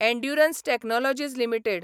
endurance Technologies limited